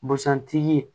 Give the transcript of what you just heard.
Busan tigi